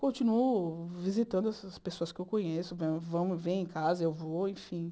Continuo visitando essas pessoas que eu conheço, vamos vem em casa, eu vou, enfim.